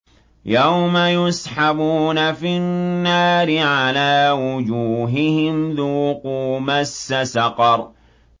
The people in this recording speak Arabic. يَوْمَ يُسْحَبُونَ فِي النَّارِ عَلَىٰ وُجُوهِهِمْ ذُوقُوا مَسَّ سَقَرَ